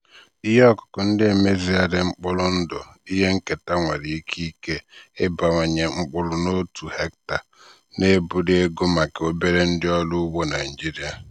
ihe ọkụkụ ndị emezigharịrị mkpụrụ ndụ ihe nketa nwere ike ike ịbawanye mkpụrụ n'otu hectare na-ebuli ego maka obere ndị ọrụ ugbo naijiria.